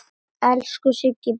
Elsku Siggi bróðir.